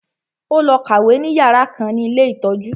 Ó lọ kàwé ní yàrá kan ní ilé ìtọ́jú